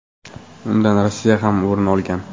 Undan Rossiya ham o‘rin olgan.